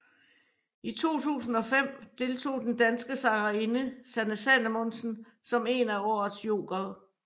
I 2005 deltog den danske sangerinde Sanne Salomonsen som en af året jokere